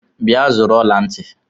Bịa zụrụ ọla ntị!